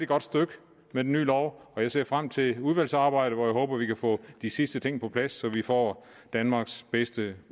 godt stykke med den nye lov og jeg ser frem til udvalgsarbejdet hvor jeg håber at vi kan få de sidste ting på plads så vi får danmarks bedste